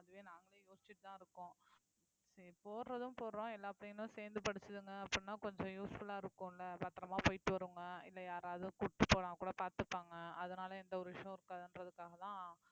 அதுவே நாங்களே யோசிச்சுட்டுதான் இருக்கோம், சரி போடுறதும் போடுறோம் எல்லா பிள்ளைகளும் சேர்ந்து படிச்சதுங்க அப்படின்னா கொஞ்சம் useful ஆ இருக்கும்ல பத்திரமா போயிட்டு வருங்க இல்லை யாராவது கூட்டிட்டு போனா கூட பார்த்துப்பாங்க அதனால எந்த ஒரு விஷயமும் இருக்காதுன்றதுக்காகதான்